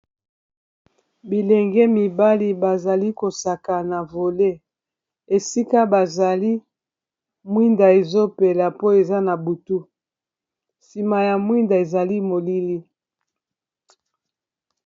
bilenge mibali bazali kosaka na vole esika bazali mwinda ezopela po eza na butu nsima ya mwinda ezali molili